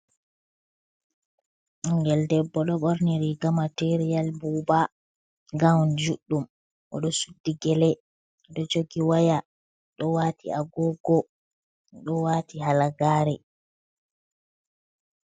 Ɓingel debbo ɗo ɓorni riga matiriyal buuba gawon juɗɗum, oɗo suddi gelee, ɗo jogi waya ɗo waati agogo ɗo waati halagaare.